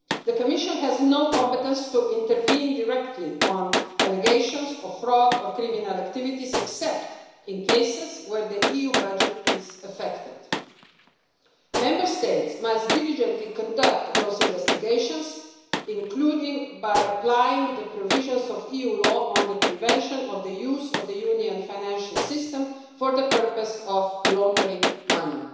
The Commission has no competence to intervene directly on allegations of fraud or criminal activities, except in cases where the EU budget is affected. Member States must diligently conduct those investigations, including by applying the provisions of EU law on the prevention of the use of the Union financial system for the purpose of laundering money.